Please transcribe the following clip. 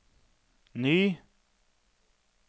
ny